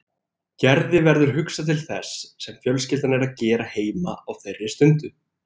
Gerði verður hugsað til þess sem fjölskyldan er að gera heima á þeirri stundu.